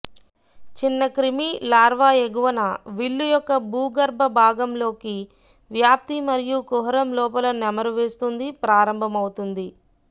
చిన్న క్రిమి లార్వా ఎగువన విల్లు యొక్క భూగర్భ భాగంగా లోకి వ్యాప్తి మరియు కుహరం లోపల నెమరువేస్తుంది ప్రారంభమవుతుంది